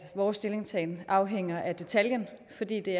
vores stillingtagen afhænger af detaljen fordi det